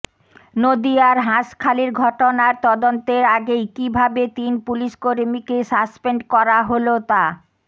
নদিয়ার হাঁসখালির ঘটনার তদন্তের আগেই কিভাবে তিন পুলিসকর্মীকে সাসপেন্ড করা হল তা